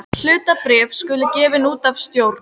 Hlutabréf skulu gefin út af stjórn.